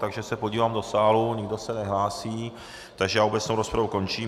Takže se podívám do sálu, nikdo se nehlásí, takže já obecnou rozpravu končím.